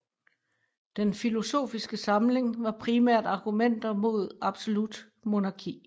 Den filosofiske samling var primært argumenter mod absolut monarki